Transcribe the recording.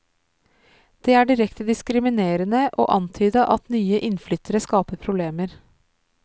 Det er direkte diskriminerende å antyde at nye innflyttere skaper problemer.